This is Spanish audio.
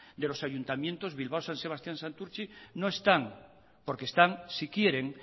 de los ayuntamientos bilbao san sebastian y santurtzi no están porque están si quieren